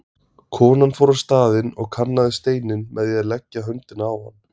Konan fór á staðinn og kannaði steininn með því að leggja höndina á hann.